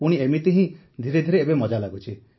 ପୁଣି ଏମିତି ହିଁ ଧୀରେଧୀରେ ଏବେ ମଜା ଲାଗୁଛି